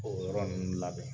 O yɔrɔ nunnu labɛn